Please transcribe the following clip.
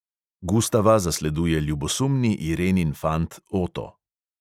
Gustava zasleduje ljubosumni irenin fant oto.